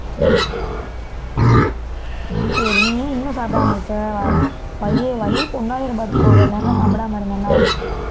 சரி நீ ஏன் இன்னும் சாப்பிடாம இருக்க வயிறு புண்ணாயிரும் பாத்துக்க இவ்வளவு நேரம் எல்லாம் சாப்பிடாம இருந்தீன்னா